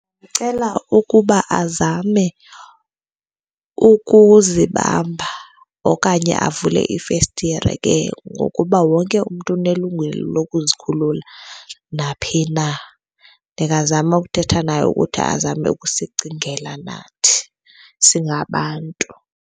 Ndicela ukuba azame ukuzibamba okanye avule ifestire ke ngokuba wonke umntu unelungelo lokuzikhulula naphi na. Ndingazama ukuthetha naye ukuthi azame ukusicingela nathi singabantu.